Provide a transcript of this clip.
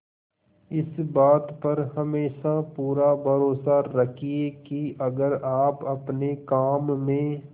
इस बात पर हमेशा पूरा भरोसा रखिये की अगर आप अपने काम में